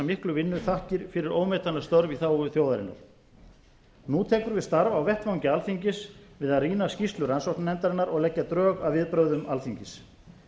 miklu vinnu þakkir fyrir ómetanleg störf í þágu þjóðarinnar nú tekur við starf á vettvangi alþingis við að rýna skýrslu rannsóknarnefndarinnar og leggja drög að viðbrögðum alþingis